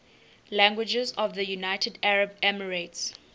languages of the united arab emirates